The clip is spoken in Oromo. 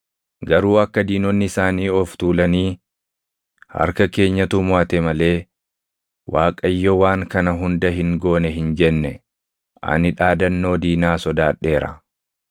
Garuu akka diinonni isaanii of tuulanii, ‘Harka keenyatu moʼate malee, Waaqayyo waan kana hunda hin goone’ hin jenne, ani dhaadannoo diinaa sodaadheera.”